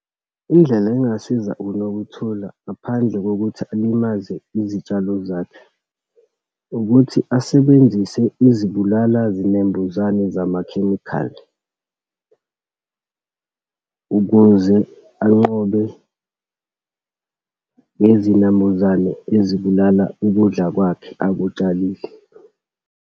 Indlela engingasiza uNokuthola ngaphandle kokuthi alimaze izitshalo zakho, ukuthi asebenzise izibulala zinembuzane zamakhemikhali ukuze anqobe lezinambuzane ezibulala ukudla kwakhe akutshalile.